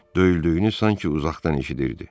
Döyüldüyünü sanki uzaqdan eşidirdi.